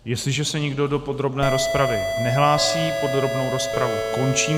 Jestliže se nikdo do podrobné rozpravy nehlásí, podrobnou rozpravu končím.